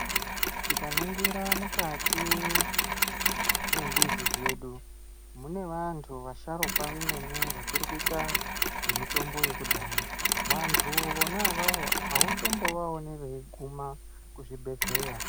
Tikaringira mukati mwembizi dzedu mune vantu vasharukwa vemene vachiri kuita zvemitombo yekudhaya. Vantu vona avavo hautombovaoni veiguma kuzvibhedhleya.